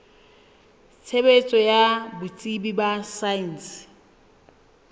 tshebetso ya botsebi ba saense